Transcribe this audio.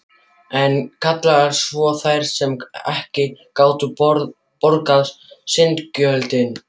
Enn kallaðar svo, þær sem ekki gátu borgað syndagjöldin.